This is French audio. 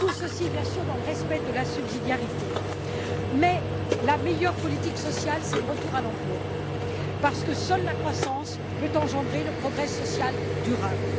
Tout cela, bien sûr, dans le respect de la subsidiarité. Cependant, la meilleure politique sociale, c'est le retour à l'emploi, parce que seule la croissance peut engendrer le progrès social durable.